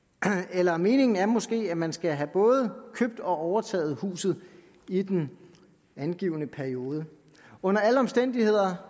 eller meningen er måske at man skal have både købt og overtaget huset i den angivne periode under alle omstændigheder